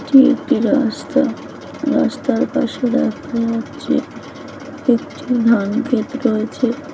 এটি একটি রাস্তারাস্তার পাশে দেখা যাচ্ছে একটি ধরন গেট রয়েছে।